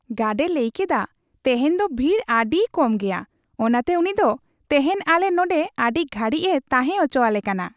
Guard ᱮ ᱞᱟᱹᱭᱠᱮᱫᱟ, ᱛᱮᱦᱮᱧ ᱫᱚ ᱵᱷᱤᱲ ᱟᱹᱰᱤ ᱠᱚᱢ ᱜᱮᱭᱟ ᱾ ᱚᱱᱟᱛᱮ ᱩᱱᱤ ᱫᱚ ᱛᱮᱦᱮᱧ ᱟᱞᱮ ᱱᱚᱸᱰᱮ ᱟᱹᱰᱤ ᱜᱷᱟᱹᱲᱤᱡ ᱮ ᱛᱟᱦᱮᱸ ᱚᱪᱚ ᱟᱞᱮ ᱠᱟᱱᱟ ᱾